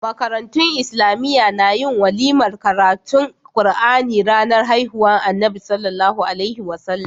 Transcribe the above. Makarantun islamiya na yin walimar karatun qur'ani ranar haihuwar annabi SAW